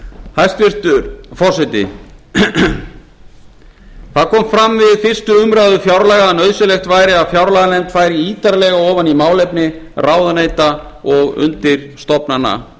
hæstvirtur forseti fram kom við fyrstu umræðu fjárlaga að nauðsynlegt væri að fjárlaganefnd færi ítarlega ofan í málefni ráðuneyta og undirstofnana þeirra